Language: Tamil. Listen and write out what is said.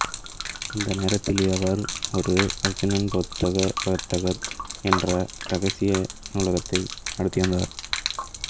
அந்த நேரத்தில் இவர் ஒரு அர்சுணன் புத்தக பந்தர் என்ற இரகசிய நூலகத்தை நடத்தி வந்தார்